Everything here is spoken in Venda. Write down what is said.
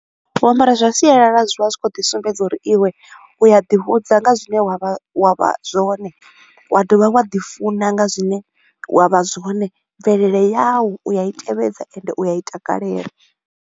U ambara zwa sialala zwi vha zwi kho u ḓi sumbedza uri iwe u ya ḓi vhudza nga zwine wa vha wa zwone, wa dovha wa ḓi funa nga zwine wa vha zwone. Mvelele yau u a i tevhedza ende u a i takalela.